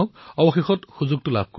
অৱশেষত সেই সুযোগটো আহিল